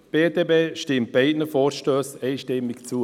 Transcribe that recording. Die BDP stimmt beiden Vorstössen einstimmig zu.